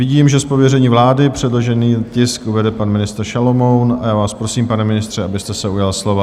Vidím, že z pověření vlády předložený tisk uvede pan ministr Šalomoun, a já vás prosím, pane ministře, abyste se ujal slova.